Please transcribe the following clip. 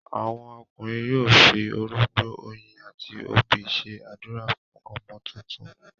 àwọn ọkùnrin yóò fi orógbó, oyin àti obì ṣe ádùrá fún ọmọ tuntun.